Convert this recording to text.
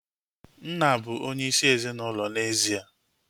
Nna bụ onyeisi ezinaụlọ n'ezie